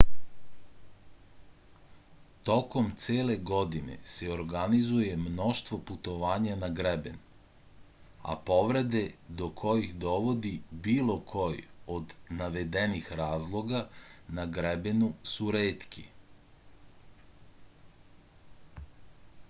tokom cele godine se organizuje mnoštvo putovanja na greben a povrede do kojih dovodi bilo koji od navedenih razloga na grebenu su retke